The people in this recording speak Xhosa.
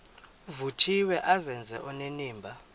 vuthiwe azenze onenimba